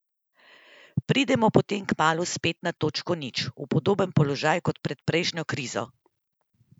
Pridemo potem kmalu spet na točko nič, v podoben položaj kot pred prejšnjo krizo?